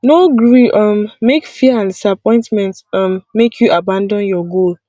no gree um make fear and disappointment um make you abandon your goal